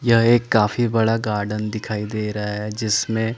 यह एक काफी बड़ा गार्डन दिखाई रहा है जिसमें--